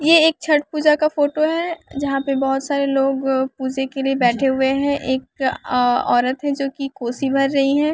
यह एक छठ पूजा का फोटो है यहाँ पे बहुत सारे लोग पूजा के लिए बैठे हुए हैं एक अअ औरत है जो कि कोशी भर रही है।